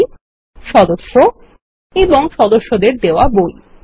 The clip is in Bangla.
বই সদস্য এবং সদস্যদের দেওয়া বই